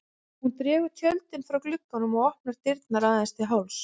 Hún dregur tjöldin frá glugganum og opnar dyrnar aðeins til hálfs.